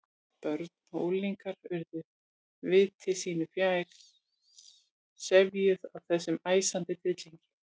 Börn og unglingar urðu viti sínu fjær, sefjuð af þessum æsandi tryllingi.